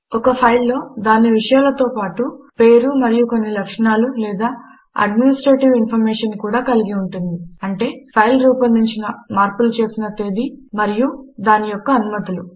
అదే విధముగా ఒక ఫైలు పేరు మరియు కొన్ని లక్షణములు లేక అడ్మినిస్ట్రేటివ్ ఇన్ఫార్మేషన్ కలిగి ఉంటుంది అంటే ఫైల్ రూపొందించబడినమార్పు చేయబడిన తేదీ మరియు దాని యొక్క అనుమతులు